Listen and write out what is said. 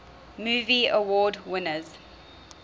movie award winners